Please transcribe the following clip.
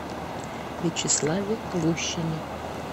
вячеславе гущине